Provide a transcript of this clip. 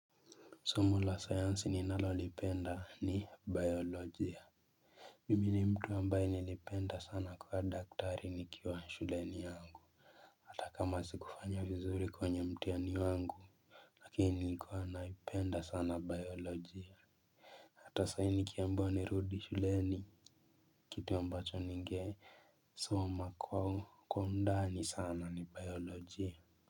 Somo la science ninalolipenda ni bayolojia. Mimi ni mtu ambaye nilipenda sana kuwa daktari nikiwa shuleni yangu. Ta kama sikufanya vizuri kwenye mtihani wangu. Lakini nilikuwa naipenda sana bayolojia. Ata sai nikiambiwa nirudi shuleni kitu ambacho ningesoma kwa kwa undani sana ni bayolojia.